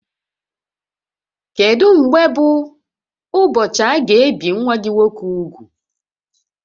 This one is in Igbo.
Kedu mgbe bụ ụbọchị aga ebi nwa gị nwoke úgwù?